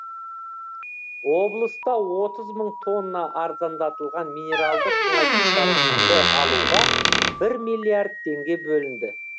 облыста отыз мың тонна арзандатылған минералды тыңайтқыштарды алуға бір миллиард теңге бөлінді